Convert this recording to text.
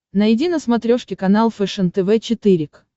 найди на смотрешке канал фэшен тв четыре к